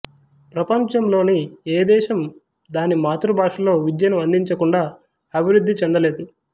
ప్రపంచంలోని ఏ దేశం దాని మాతృభాషలో విద్యను అందించకుండా అభివృద్ధి చెందలేదు